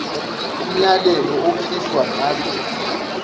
umyalelo okhishwa ngalo